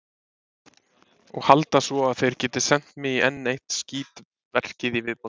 Og halda svo, að þeir geti sent mig í enn eitt skítverkið í viðbót.